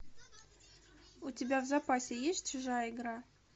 у тебя в запасе есть чужая игра